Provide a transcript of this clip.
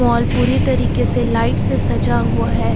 Mall पूरी तरीके से लाइट से सजा हुआ है।